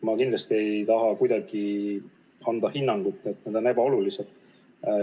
Ma kindlasti ei taha anda hinnangut, et need on ebaolulised.